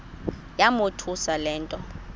yamothusa le nto